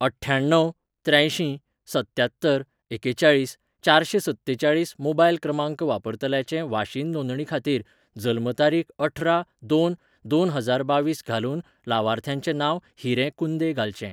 अठ्ठ्यण्णव त्र्यांयशीं सत्त्यात्तर एकेचाळीस चारशें सत्तेचाळीस मोबायल क्रमांक वापरतल्याचे वाशीन नोंदणी खातीर जल्म तारीख अठरा दोन दोन हजार बावीस घालून लावार्थ्याचें नांव हिरे कुंदे घालचें.